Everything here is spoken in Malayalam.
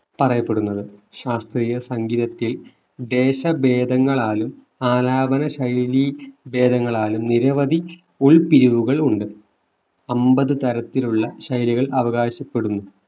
പറയപ്പെടുന്നത് ശാസ്ത്രീയ സംഗീതത്തിൽ ദേശ ഭേദങ്ങളാലും ആലാപന ശൈലി ഭേദങ്ങളാലും നിരവധി ഉൾ പിരിവുകളുണ്ട് അൻപത് തരത്തിലുള്ള ശൈലികൾ അവകാശപ്പെടുന്നു